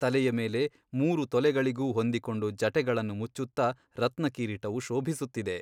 ತಲೆಯ ಮೇಲೆ ಮೂರು ತಲೆಗಳಿಗೂ ಹೊಂದಿಕೊಂಡು ಜಟೆಗಳನ್ನು ಮುಚ್ಚುತ್ತ ರತ್ನಕಿರೀಟವು ಶೋಭಿಸುತ್ತಿದೆ.